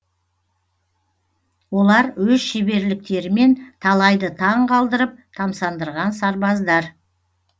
олар өз шеберліктерімен талайды таң қалдырып тамсандырған сарбаздар